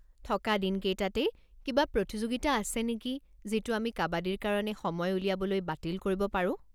থকা দিনকেইটাতেই কিবা প্ৰতিযোগিতা আছে নেকি যিটো আমি কাবাদীৰ কাৰণে সময় উলিয়াবলৈ বাতিল কৰিব পাৰো।